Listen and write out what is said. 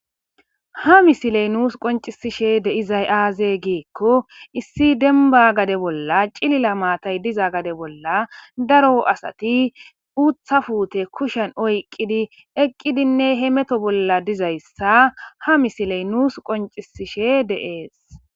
Ha misiley nuus qoncisishe de izay aaze giikko issi denba gade bolla cilila maatay diza gade bolla daro asati uutha fuute kushen oyqqidi eqqidinne he meto bolla dizayssa ha misiley nuus qoncisishe de'ees.